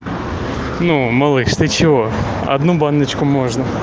ну малыш ты чего одну баночку можно